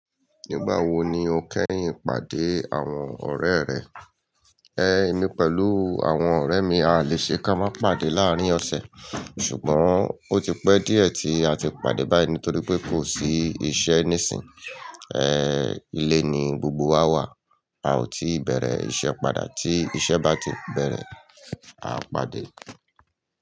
Nígbà wo ni o kẹ́yìn pàdé àwọn ọ̀rẹ́ rẹ? Ẹ̀, èmi pẹ̀lú àwọn ọ̀rẹ́ mi a lè ṣe ká má pàdé láàárín ọ̀sẹ̀. Ṣùgbọ́n, ó ti pẹ́ díẹ̀ tí a ti pàdé báyìí nítorí pé kò sí iṣẹ́ níìsín. Ẹ̀, ilé ni gbogbo wa wà. A ò tí bẹ̀rẹ̀ iṣẹ́ padà. Tí iṣẹ́ bá ti bẹ̀rẹ̀, a pàdé.